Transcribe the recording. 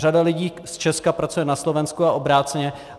Řada lidí z Česka pracuje na Slovensku a obráceně.